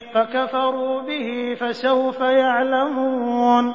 فَكَفَرُوا بِهِ ۖ فَسَوْفَ يَعْلَمُونَ